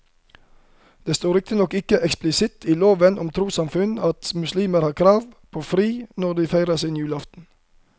Det står riktignok ikke eksplisitt i loven om trossamfunn at muslimer har krav på fri når de feirer sin julaften.